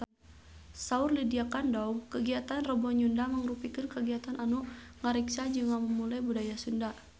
Saur Lydia Kandou kagiatan Rebo Nyunda mangrupikeun kagiatan anu ngariksa jeung ngamumule budaya Sunda